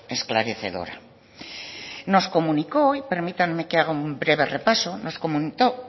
esclarecedora nos comunicó y permítanme que haga un breve repaso nos